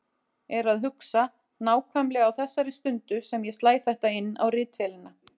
Er að hugsa, nákvæmlega á þessari stundu sem ég slæ þetta inn á ritvélina